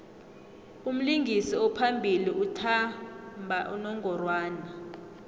umlingisi ophambili uthmba unongorwana